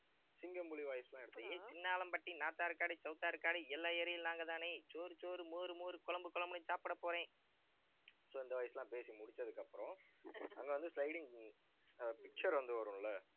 சிங்கம், புலி voice எல்லாம் சின்னாளம்பட்டி, நார்த் ஆற்காடு, சவுத் ஆற்காடு எல்லா area லயும் நாங்கதானே. சோறு சோறு மோரு மோரு, குழம்பு குழம்புன்னு சாப்பிட போறேன் so இந்த voice எல்லாம் பேசி முடிச்சதுக்கு அப்புறம், அங்க வந்து sliding ஆஹ் picture வந்து வரும்ல